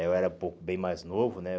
Eu era um pouco bem mais novo, né?